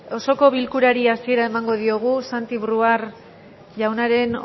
osoko bilkurari hasiera emango diogu santi brouard jaunaren